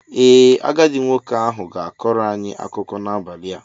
Ee, agadi nwoke ahụ ga-akọrọ anyị akụkọ n'abalị a.